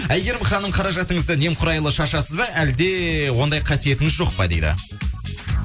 айгерім ханым қаражатыңызды немқұрайлы шашасыз ба әлде ондай қасиетіңіз жоқ па дейді